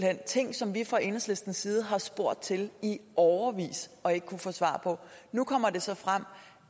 er ting som vi fra enhedslistens side har spurgt til i årevis og ikke har kunnet få svar på nu kommer det så frem